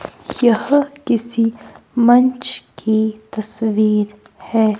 यह किसी मंच की तस्वीर है।